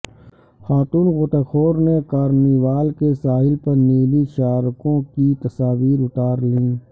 خاتون غوطہ خور نے کارنیوال کے ساحل پر نیلی شارکوں کی تصاویر اتار لیں